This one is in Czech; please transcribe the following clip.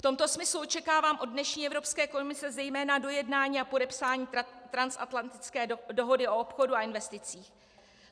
V tomto smyslu očekávám od dnešní Evropské komise zejména dojednání a podepsání Transatlantické dohody o obchodu a investicích.